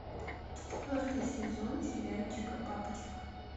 четвертый сезон сериальчика папочка